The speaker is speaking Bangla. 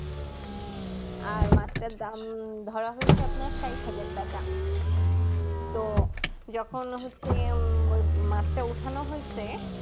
আর মাছটার দাম ধরা হয়েছে আপনার স্যাট হাজার টাকা তো যখন হচ্ছে উম মাছটা উঠানো হৈছে